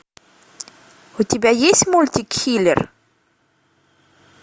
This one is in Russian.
у тебя есть мультик киллер